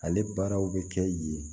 Ale baaraw bɛ kɛ yen